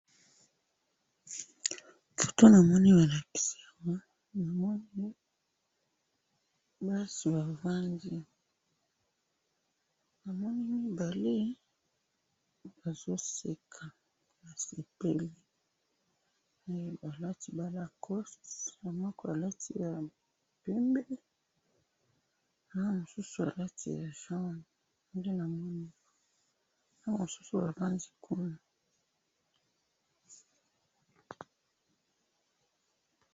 Foto namoni balakisi awa, namoni basi bavandi, namoni mibali bazoseka, basepeli, eh! Balati ba lacost moko alati ya pembe na mosusu alati ya jaune, nde namoni, na masusu bavandi kuna.